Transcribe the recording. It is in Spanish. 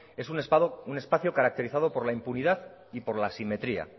es un espacio caracterizado por la impunidad y por la asimetría